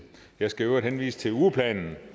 jeg skal i øvrigt henvise til ugeplanen